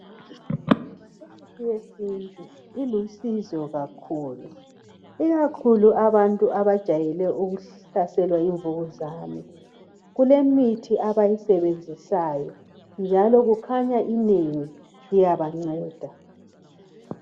Imithi yesintu ilusizo kakhulu, ikakhulu abantu abajayele ukuhlaselwa yimvukuzane. Kulemithi abayisebenzisayo njalo kukhanya inengi iyabanceda.